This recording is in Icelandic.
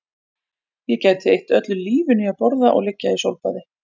Ég gæti eytt öllu lífinu í að borða og liggja í sólbaði